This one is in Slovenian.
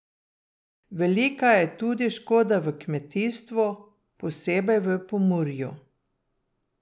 Velika je tudi škoda v kmetijstvu, posebej v Pomurju.